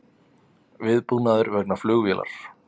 Viðbúnaður vegna flugvélar